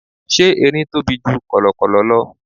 Ṣé Erin tóbi ju kọ̀lọ̀kọ̀lọ̀ lọ?